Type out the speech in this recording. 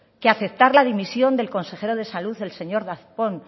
que aceptar la dimisión del consejero de salud el señor darpón